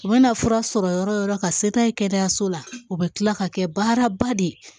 U mana fura sɔrɔ yɔrɔ o yɔrɔ ka se n'a ye kɛnɛyaso la u bɛ tila ka kɛ baaraba de ye